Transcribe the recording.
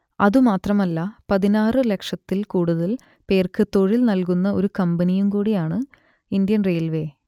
അതുമാത്രമല്ല പതിനാറ് ലക്ഷത്തിൽ കൂടുതൽ പേർക്ക് തൊഴിൽ നൽകുന്ന ഒരു കമ്പനിയും കൂടിയാണ് ഇന്ത്യൻ റെയിൽവേ